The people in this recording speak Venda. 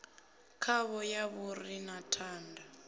khavho ya fhuri na thanda